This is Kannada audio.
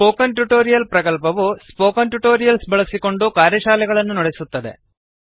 ಸ್ಪೋಕನ್ ಟ್ಯುಟೋರಿಯಲ್ ಪ್ರಕಲ್ಪವು ಸ್ಪೋಕನ್ ಟ್ಯುಟೋರಿಯಲ್ಸ್ ಬಳಸಿಕೊಂಡು ಕಾರ್ಯಶಾಲೆಗಳನ್ನು ನಡೆಸುತ್ತದೆ